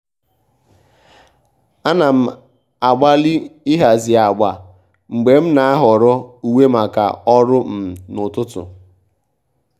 à nà m ágbàlị́ ị́hàzì ágbà mgbè m nà-áhọ́rọ́ úwé màkà ọ́rụ́ um n’ụ́tụ́tụ́.